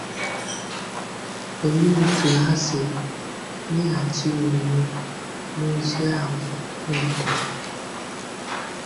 Olee otú ha si meghachi omume n’ozi ahụ o wetara?